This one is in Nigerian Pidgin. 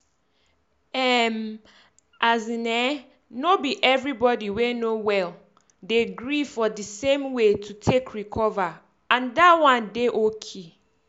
erm as in eh no be everybody wey no well um dey gree for di same way to take recover and dat one um dey oki.